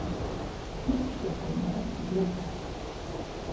Uppskriftin var ekki flókin